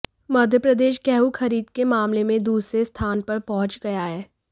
मध्य प्रदेश गेहूं खरीद के मामले में दूसरे स्थान पर पहुंच गया है